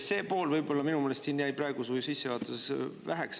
See pool võib-olla minu meelest siin jäi praegu sul sissejuhatuses väheks.